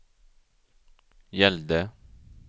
gällde